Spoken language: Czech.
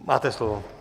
Máte slovo.